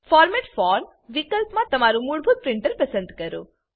format for વિકલ્પ મા તમારું મૂળભૂત પ્રિન્ટર પસંદ કરો